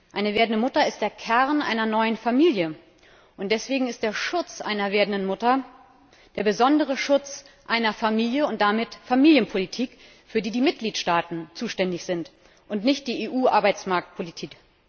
Eine werdende Mutter ist der Kern einer neuen Familie. Und deswegen ist der Schutz einer werdenden Mutter der besondere Schutz einer Familie und damit Familienpolitik, für die die Mitgliedstaaten zuständig sind und nicht die EU Arbeitsmarktpolitik.